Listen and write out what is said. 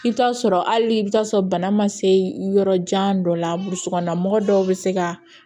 I bɛ t'a sɔrɔ hali i bɛ t'a sɔrɔ bana ma se yɔrɔ jan dɔ la burusi kɔnɔna mɔgɔ dɔw bɛ se ka